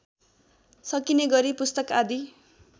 सकिनेगरी पुस्तक आदि